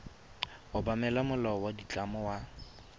obamela molao wa ditlamo wa